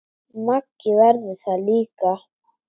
Maggi verður það líka.